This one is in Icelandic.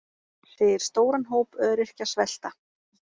Segir stóran hóp öryrkja svelta